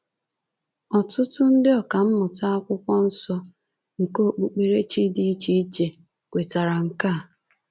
Ọtụtụ ndị ọkammụta Akwụkwọ Nsọ nke okpukperechi dị iche iche kwetara nke a.